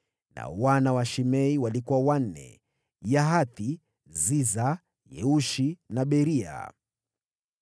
Nao wana wa Shimei walikuwa wanne: Yahathi, Zina, Yeushi na Beria.